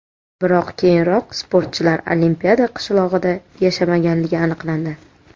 Biroq keyinroq sportchilar Olimpiada qishlog‘ida yashamaganligi aniqlandi.